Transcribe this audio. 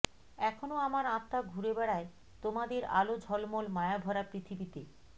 এখনো আমার আত্মা ঘুরে বেড়ায় তোমাদের আলো ঝলমল মায়াভরা পৃথিবীতে